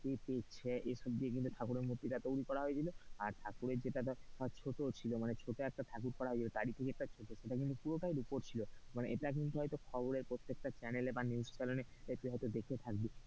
এইসব দিয়ে কিন্তু ঠাকুরের মূর্তিটা তৈরী করা হয়েছিল আর ঠাকুরের যেটা ধরে ছোট ছিল মানে ছোট একটা ঠাকুর করা হয়েছিল তার ই থেকে একটা ছোট ঠাকুর এটা কিন্তু পুরোটাই রুপোর ছিল মানে এটা কিন্তু হয়তো খবরের প্রত্যেকটা channel এ বা news channel এ তুই হয়তো দেখে থাকবি।